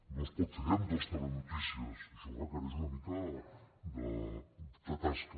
no es pot fer en dos telenotícies això requereix una mica de tasca